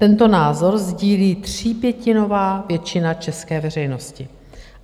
Tento názor sdílí třípětinová většina české veřejnosti.